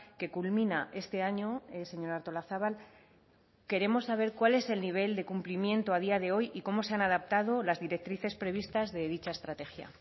que culmina este año señora artolazabal queremos saber cuál es el nivel de cumplimiento a día de hoy y cómo se han adaptado las directrices previstas de dicha estrategia